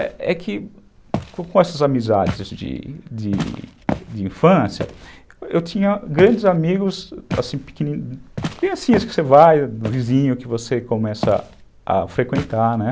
É que com essas amizades de infância, eu tinha grandes amigos, assim, pequenininhos, criancinhas que você vai, do vizinho que você começa a frequentar, né?